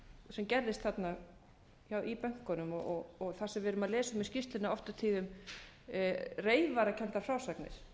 sem gerðist þarna í bönkunum og það sem við erum að lesa um í skýrslunni oft á tíðum reyfarakenndar frásagnir